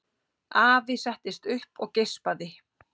Afi settist upp og geispaði.